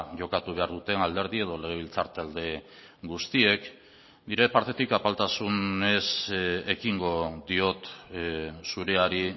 jokatu behar duten alderdi edo legebiltzar talde guztiek nire partetik apaltasunez ekingo diot zureari